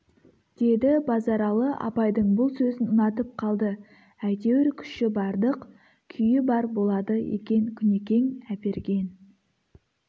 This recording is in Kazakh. деді базаралы абайдың бұл сөзін ұнатып қалды әйтеуір күші бардық күйі бар болады екен күнекең әперген